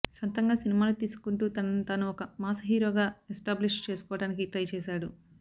సొంతంగా సినిమాలు తీసుకుంటూ తనని తాను ఒక మాస్ హీరోగా ఎస్టాబ్లిష్ చేసుకోవడానికి ట్రై చేసాడు